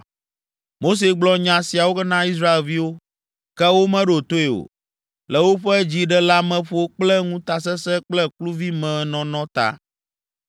Mose gblɔ nya siawo na Israelviwo, ke womeɖo toe o, le woƒe dziɖeleameƒo kple ŋutasesẽ kple kluvimenɔnɔ ta.